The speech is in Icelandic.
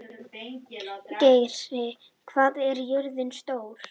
Geiri, hvað er jörðin stór?